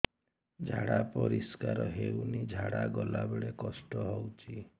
ଝାଡା ପରିସ୍କାର ହେଉନି ଝାଡ଼ା ଗଲା ବେଳେ କଷ୍ଟ ହେଉଚି